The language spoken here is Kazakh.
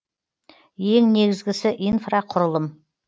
ең негізісі инфроқұрылым